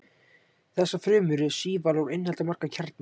þessar frumur eru sívalar og innihalda marga kjarna